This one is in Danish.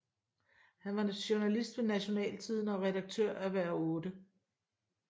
Han var journalist ved Nationaltidende og redaktør af Hver 8